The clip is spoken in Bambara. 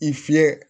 I fiyɛ